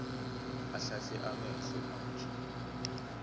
ahlahle amehlo manje